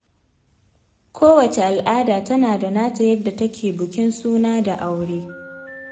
Kowace al'ada tana da nata yadda take bukin suna da aure.